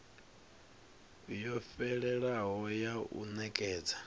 yo fhelelaho ya u nekedza